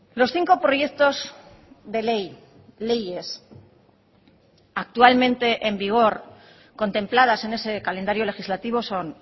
los cinco proyectos de ley leyes actualmente en vigor contempladas en ese calendario legislativo son